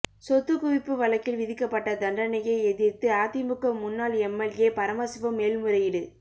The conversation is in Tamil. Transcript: சொத்துகுவிப்பு வழக்கில் விதிக்கப்பட்ட தண்டனையை எதிர்த்து அதிமுக முன்னாள் எம்எல்ஏ பரமசிவம் மேல்முறையீடு